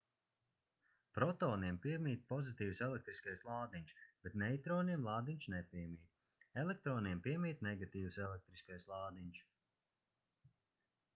protoniem piemīt pozitīvs elektriskais lādiņš bet neitroniem lādiņš nepiemīt elektroniem piemīt negatīvs elektriskais lādiņš